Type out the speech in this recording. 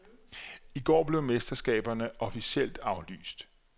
I går blev mesterskaberne officielt aflyst.